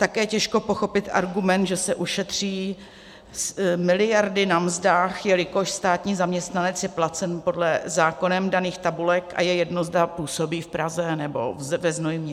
Také těžko pochopit argument, že se ušetří miliardy na mzdách, jelikož státní zaměstnanec je placen podle zákonem daných tabulek a je jedno, zda působí v Praze, nebo ve Znojmě.